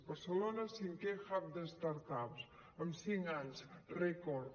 barcelona cinquè hub de ups en cinc anys rècord